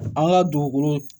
An ka dugukolo